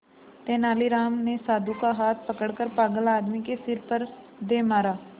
तेनालीराम ने साधु का हाथ पकड़कर पागल आदमी के सिर पर दे मारा